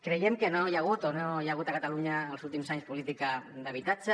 creiem que no hi ha hagut a catalunya els últims anys política d’habitatge